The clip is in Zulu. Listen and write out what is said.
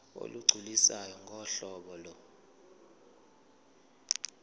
olugculisayo ngohlobo lo